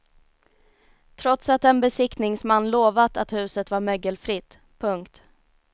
Trots att en besiktningsman lovat att huset var mögelfritt. punkt